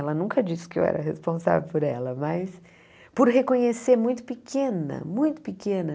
Ela nunca disse que eu era responsável por ela, mas por reconhecer muito pequena, muito pequena.